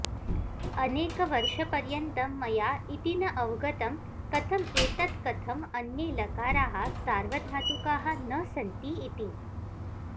अनेकवर्षपर्यन्तं मया इति न अवगतं कथम् एतत् कथम् अन्ये लकाराः सार्वधातुकाः न सन्ति इति